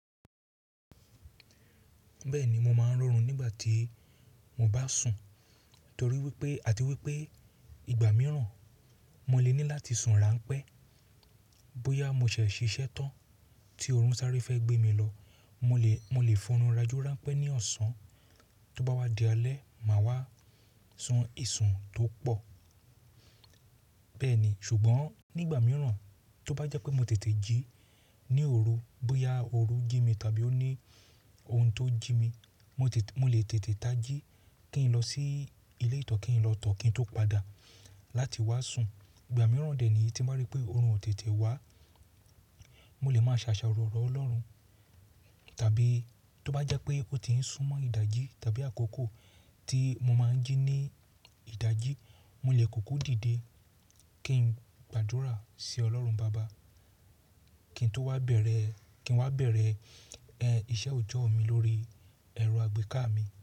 Bẹ́ẹ̀ni mo máa ń rorùn nígbà tí mo bá sùn, torí wípé, àti wípé ìgbà mìíràn mo lè ní láti sùn ránpẹ́. Bóyá mo ṣẹ̀ṣẹ̀ ṣiṣẹ́ tán tí oòrùn sáré fẹ́ gbé mi lọ, mo lè, mo lè fọ́nrùn rajọ́ rànpẹ́ ní ọ̀sán, tó bá wá di alẹ́, màá wá sùn ìsùn tó pọ̀. Bẹ́ẹ̀ni, ṣùgbọ́n nígbà mìíràn tó bá jẹ́ pé mo tètè jí ní òru, bóyá òru jí mi tàbí ó ní ohun tó jí mi, mo lè, mo lè tètè tají kí n lọ sí ilé ìtọ́ kí n lọ tọ̀ọ́ kí n tó padà láti wá sùn. Ìgbà mìíràn dẹ̀ ni tí mo bá ríi pé oorun ò tètè wá, mo lè máa ṣàṣàrò lọ l'ọ́rùn. Tàbí tó bá jẹ́ pé ó ti ń sún mọ́ ìdajì tàbí àkókò tí mo máa ń jí ní ìdajì, mo lè kúkú dìde kí n gbàdúrà sí Ọlọ́run baba kí n tó wá bẹ̀rẹ̀, kí n wá bẹ̀rẹ̀, ẹ́, iṣẹ́ òjọ́ mi lórí ẹ̀rọ àgbéká mi.